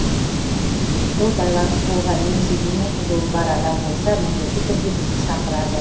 сол байланыс болған немесе дене қызуы бар адам болса міндетті түрде бізді шақырады